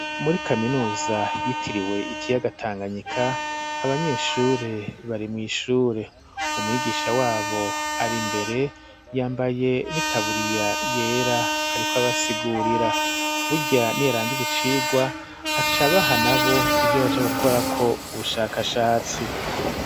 Muri kaminuza yitiriwe ikiyaga Tanganyika abanyeshure bari mw'ishure umwigisha wabo ari imbere yambaye n'itaburiya yera ariko abasigurira burya niyarangize icirwa acabaha nabo ivyo baja gukorako ubushakashatsi.